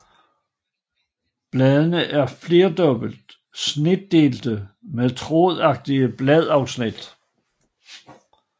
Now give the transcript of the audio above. Bladene er flerdobbelt snitdelte med trådagtige bladafsnit